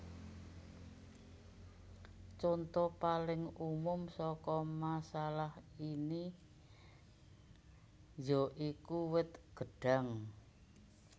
Conto paling umum saka masalah ini ya iku wit gedhang